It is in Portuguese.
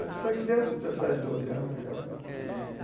Eu tinha uma criança de dez, doze anos naquela época. Hum.